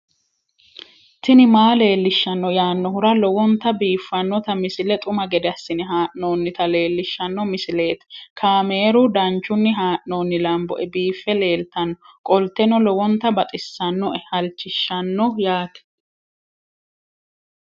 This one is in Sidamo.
tini maa leelishshanno yaannohura lowonta biiffanota misile xuma gede assine haa'noonnita leellishshanno misileeti kaameru danchunni haa'noonni lamboe biiffe leeeltannoqolten lowonta baxissannoe halchishshanno yaate